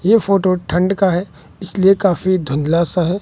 ये फोटो ठंड का है इसलिए काफी धुंधला सा है।